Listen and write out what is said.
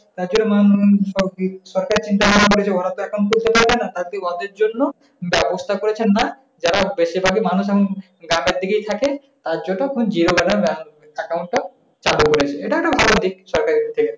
ব্যাবস্থা করছেন না। যারা বেশিভাগী মানুষ এখন ঢাকার দিকেই থাকে তার জন্য আপনার zero balance account টা চালু করছে। এটাও একটা ভালোদিক সরকারের দিক থেকে।